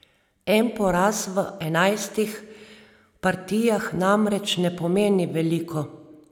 En poraz v enajstih partijah namreč ne pomeni veliko.